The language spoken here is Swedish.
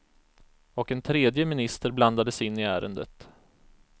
Och en tredje minister blandades in i ärendet.